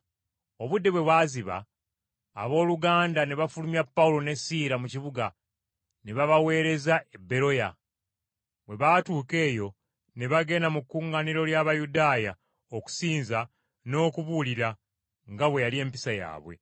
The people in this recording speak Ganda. Obudde bwe bwaziba abooluganda ne bafulumya Pawulo ne Siira mu kibuga ne babaweereza e Beroya. Bwe baatuuka eyo ne bagenda mu kkuŋŋaaniro ly’Abayudaaya okusinza n’okubuulira, nga bwe yali empisa yaabwe.